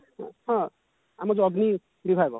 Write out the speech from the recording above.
ହଁ ଆମର ଯଉ ଅଗ୍ନି ବିଭାଗ